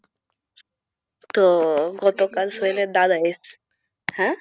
তো গত হ্যাঁ,